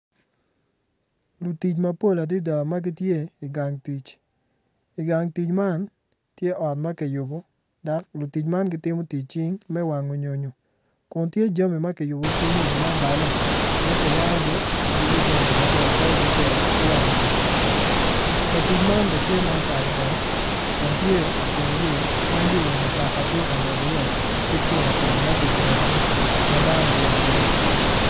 Lutic mapol adada gitye i gang tic i gang tic man tye ot makiyubo dok lutic man gitimo tic cing me wango nyonyo kun tye jami mogo makiyubo ki nyonyo ma obale ma ki wangogi dwoko jami maber calo dogola ki wang ot katic man bene tye ma otal wang kun tye i teng yo ma yor mutoka tye ka ngwec i ye ki piki piki maki jengogi madano obedo i diwiye.